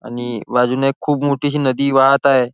आणि बाजूने खूप मोठीशी नदी वाहत आहे.